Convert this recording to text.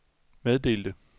meddelte